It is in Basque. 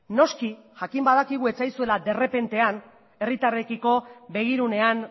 noski jakin badakigu ez zaizuela derrepentean herritarrekiko begirunean